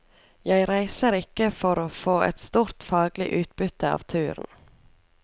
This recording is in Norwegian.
Jeg reiser ikke for å få et stort faglig utbytte av turen.